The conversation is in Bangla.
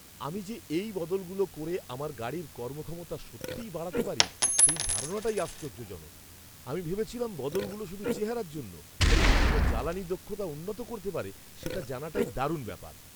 আমি যে এই বদলগুলো করে আমার গাড়ির কর্মক্ষমতা সত্যিই বাড়াতে পারি সেই ধারণাটাই আশ্চর্যজনক। আমি ভেবেছিলাম বদলগুলো শুধু চেহারার জন্য, তবে এগুলো জ্বালানী দক্ষতা উন্নত করতে পারে সেটা জানাটাই দারুণ ব্যাপার।